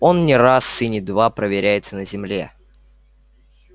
он не раз и не два проверяется на земле